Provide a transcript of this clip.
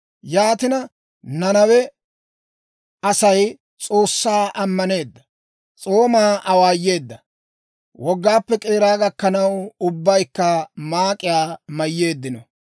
Yaatina, Nanawe Asay S'oossaa ammaneedda; s'oomaa awaayeedda. Wogaappe k'eera gakkanaw, ubbaykka maak'iyaa mayyeeddino.